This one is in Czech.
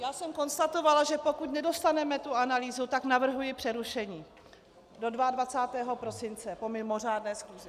Já jsem konstatovala, že pokud nedostaneme tu analýzu, tak navrhuji přerušení do 22. prosince po mimořádné schůzi.